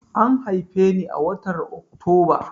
An haife ni a watar Oktoba.